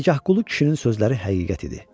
Dərgahqulu kişinin sözləri həqiqət idi.